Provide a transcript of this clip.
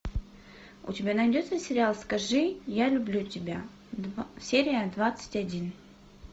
у тебя найдется сериал скажи я люблю тебя серия двадцать один